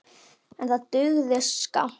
En það dugði skammt.